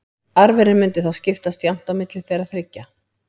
Arfurinn mundi þá skiptast jafnt á milli þeirra þriggja.